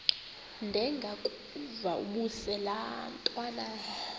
ndengakuvaubuse laa ntwana